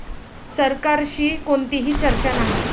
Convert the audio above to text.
सरकारशी कोणतीही चर्चा नाही'